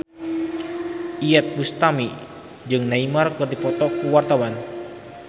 Iyeth Bustami jeung Neymar keur dipoto ku wartawan